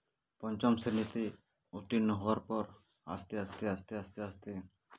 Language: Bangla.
পঞ্চম শ্রেণীতে উত্তীর্ণ হওয়ার পর আস্তে আস্তে আস্তে আস্তে আস্তে